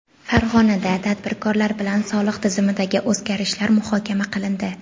Farg‘onada tadbirkorlar bilan soliq tizimidagi o‘zgarishlar muhokama qilindi.